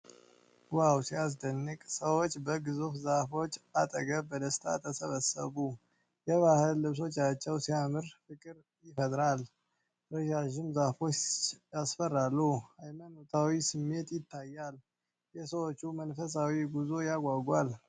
ዋው ሲያስደንቅ! ሰዎች በግዙፍ ዛፎች አጠገብ በደስታ ተሰበሰቡ። የባህል ልብሶቻቸው ሲያምር፣ ፍቅር ይፈጥራል። ረዣዥም ዛፎቹ ያስፈራሉ። ሃይማኖታዊ ስሜት ይታያል። የሰዎቹ መንፈሳዊ ጉዞ ያጓጓል።